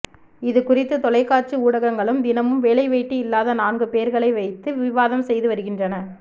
இதுகுறித்து தொலைக்காட்சி ஊடகங்களும் தினமும் வேலைவெட்டி இல்லாத நான்கு பேர்களை வைத்து விவாதம் செய்து வருகின்றன